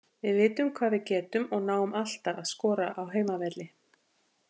Við vitum hvað við getum og náum alltaf að skora á heimavelli.